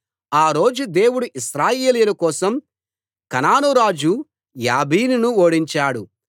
ఆ రోజు దేవుడు ఇశ్రాయేలీయుల కోసం కనాను రాజు యాబీనును ఓడించాడు